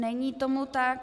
Není tomu tak.